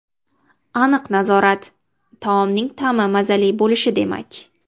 Aniq nazorat- taomning ta’mi mazali bo‘lishi demak.